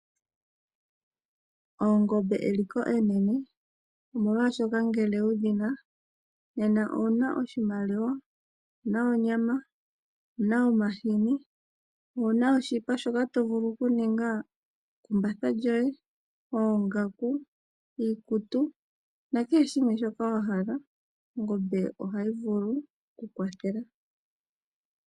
Oongombe eliko enene, omolwashoka ngele wu dhi na nena owu na oshimaliwa, owu na onyama, owu na omahini, owu na oshipa shoka to vulu okuninga ekumbatha lyoye, oongaku, iikutu nakehe shimwe shoka wa hala. Ongombe ohayi vulu oku kwathela.